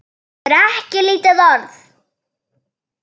Það er ekki lítil orða!